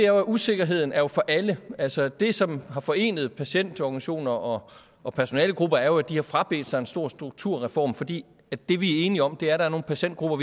at usikkerheden er for alle altså det som har forenet patientorganisationer og og personalegrupper er jo at de har frabedt sig en stor strukturreform fordi det vi er enige om der er nogle patientgrupper